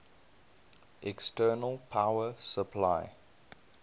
external power supply